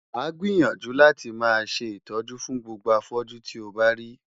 Wàá gbìyànjú láti máa ṣe ìtọ́jú fún gbogbo afọ́jú tí o bá rí.